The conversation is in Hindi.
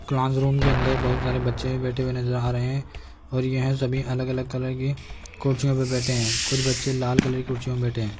क्लासरूम के अंदर बहुत सारे बच्चे भी बैठे हुए नजर आ रहे हैं और यह सभी अलग अलग कलर के कुर्सियों पर बैठे हैं कुछ बच्चे लाल कलर के कुर्सियों पर बैठे हैं।